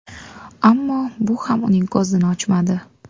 Ammo bu ham uning ko‘zini ochmadi.